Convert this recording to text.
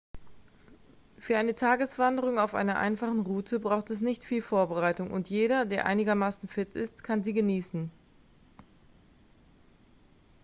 für eine tageswanderung auf einer einfachen route braucht es nicht viel vorbereitung und jeder der einigermaßen fit ist kann sie genießen